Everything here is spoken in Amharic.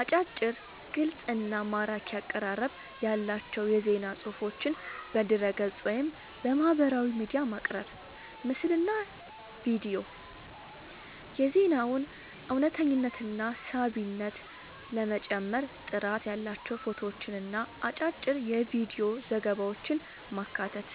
አጫጭር፣ ግልጽ እና ማራኪ አቀራረብ ያላቸው የዜና ፅሁፎችን በድረ-ገጽ፣ ወይም በማህበራዊ ሚዲያ ማቅረብ። ምስልና ቪዲዮ፦ የዜናውን እውነተኝነትና ሳቢነት ለመጨመር ጥራት ያላቸው ፎቶዎችንና አጫጭር የቪዲዮ ዘገባዎችን ማካተት።